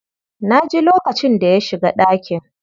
Na ji lokacin da ya shiga ɗakin.